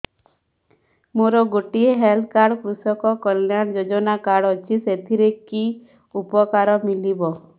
ମୋର ଗୋଟିଏ health card କୃଷକ କଲ୍ୟାଣ ଯୋଜନା କାର୍ଡ ଅଛି ସାଥିରେ କି ଉପକାର ମିଳିବ